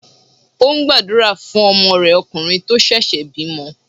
Ó ń gbàdúrà fún ọmọ rẹ̀ okùnrin tó ṣẹ̀ṣẹ̀ bímọ.